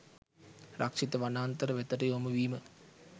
රක්ෂිත වනාන්තර වෙතට යොමු වීම